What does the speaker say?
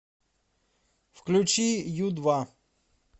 включи ю два